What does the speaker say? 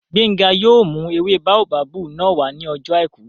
Gbénga yóò mú ewé báóbábù náà wá ní ọjọ́ àìkú